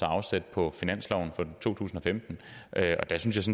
afsat på finansloven for to tusind og femten og der synes